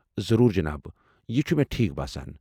ضروٗر، جناب ۔ یہِ چُھ مےٚ ٹھیٖکھ باسان۔